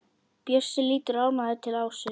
Bjössi lítur ánægður til Ásu.